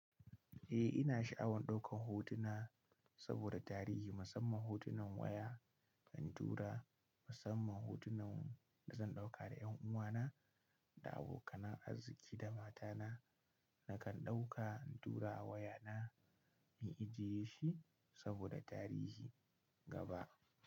Eh ina sha'awan ɗaukan hotuna saboda tarihi, musamman hotunan waya, intura, musamman hotunan da zan ɗauka da 'yan uwana da abokanan arziki da matana. Nakan ɗauka intura a wayana, na ijiye shi saboda tarihi gaba.